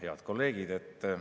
Head kolleegid!